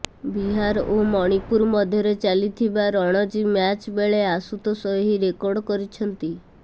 ବିହାର ଓ ମଣିପୁର ମଧ୍ୟରେ ଚାଲିଥିବା ରଣଜୀ ମ୍ୟାଚ୍ ବେଳେ ଆଶୁତୋଷ ଏହି ରେକର୍ଡ କରିଛନ୍ତି